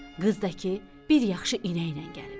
Qız da ki, bir yaxşı inəklə gəlib.